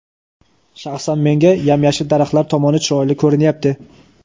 shaxsan menga yam-yashil daraxtlar tomoni chiroyli ko‘rinyapti.